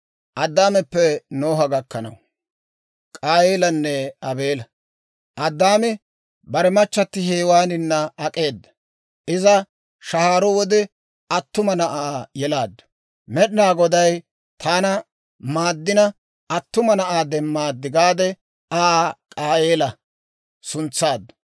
Addaami bare machchatti Hewaanina ak'eeda; iza shahaaro wode attuma na'aa yelaaddu; «Med'inaa Goday taana maaddina, attuma na'aa demmaad» gaade Aa K'aayeela suntsaaddu.